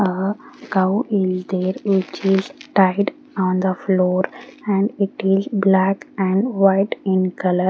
a cow is there which is tied on the floor and it is black and white in colour.